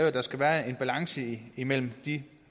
at der skal være en balance imellem de